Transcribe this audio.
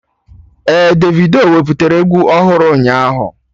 Ee, Davido wepụtara egwu ọhụrụ ụnyaahụ